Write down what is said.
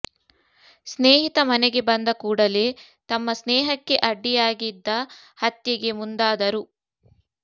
ಸ್ನೇಹಿತ ಮನೆಗೆ ಬಂದ ಕೂಡಲೇ ತಮ್ಮ ಸ್ನೇಹಕ್ಕೆೆ ಅಡ್ಡಿಿಯಾಗಿದ್ದ ಹತ್ಯೆೆಗೆ ಮುಂದಾದರು